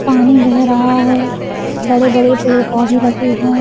पानी बह रहा है बड़े बड़े पेड़ पौधे लगे हैं।